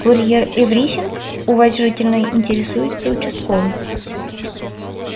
курьер эврисинг уважительно интересуется участковый